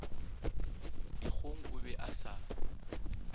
dikgong o be a sa